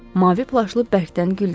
Mavi plaşlı bərkdən güldü.